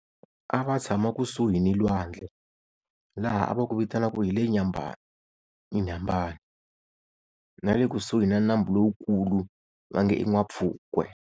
A va tshama kusuhi ni lwandle laha a va ku vitana ku hi le Nyambani Inhambane, na le kusuhi na nambu lowukulu va nge N'wampfhukwe.